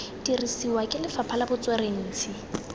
dirisiwa ke lefapha la botsweretshi